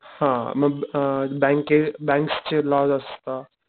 हा मग अ बँके बॅंक्स चे लॉज असता.